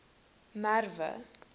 merwe